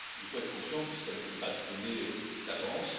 Il faut être conscient que ce n'était pas donné d'avance.